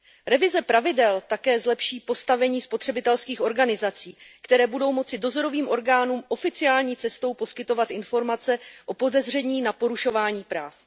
Revize pravidel také zlepší postavení spotřebitelských organizací, které budou moci dozorovým orgánům oficiální cestou poskytovat informace o podezření na porušování práv.